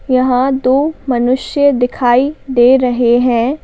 यहां दो मनुष्य दिखाई दे रहे हैं।